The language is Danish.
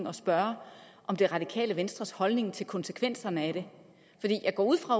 at spørge om det radikale venstres holdning til konsekvenserne af det jeg går ud fra